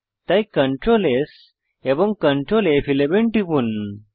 তাই Ctrl S এবং Ctrl ফ11 টিপুন